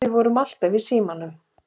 Við vorum alltaf í símanum.